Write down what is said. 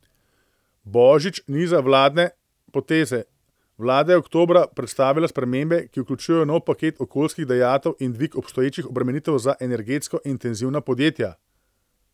Božič niza vladne poteze: 'Vlada je oktobra predstavila spremembe, ki vključujejo nov paket okoljskih dajatev in dvig obstoječih obremenitev za energetsko intenzivna podjetja.